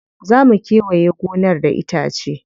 Za mu kewaye gonar da itace.